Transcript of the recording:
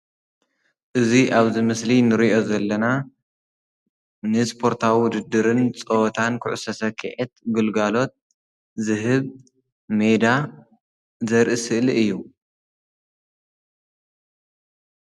እዚ ኣብዚ ምስሊ እንሪኦ ዘለና ንስፖርታዊ ዉድድርን ፀወታን ኩዕሶ ሰክዔት ግልጋሎት ዝህብ ሜዳ ዘርኢ ስእሊ እዩ።